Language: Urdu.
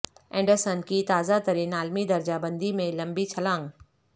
اینڈرسن کی تازہ ترین عالمی درجہ بندی میں لمبی چھلانگ